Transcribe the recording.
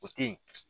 O te yen